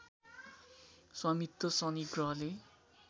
स्वामित्व शनि ग्रहले